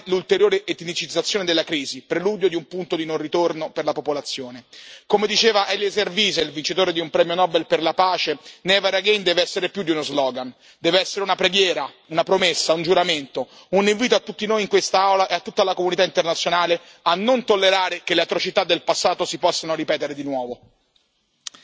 e in particolare l'ulteriore etnicizzazione della crisi, preludio di un punto di non ritorno per la popolazione. Come diceva Eliezer Wiesel, vincitore di un premio Nobel per la pace, Never again deve essere più di uno slogan, deve essere una preghiera, una promessa, un giuramento, un invito a tutti noi in quest'Aula e a tutta la comunità internazionale a non tollerare che le atrocità del passato si possano ripetere di nuovo.